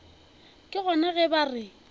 ke gona ge ba re